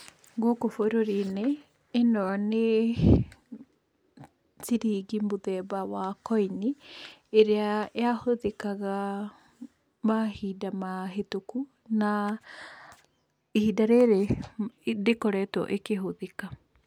Gũkũ bũrũri-inĩ, ĩno nĩ ciringi mũthemba wa koini, ĩrĩa yahũthĩkaga mahinda mahĩtũkũ, na ihinda rĩrĩ ndĩkoretwo ĩkĩhũthĩka.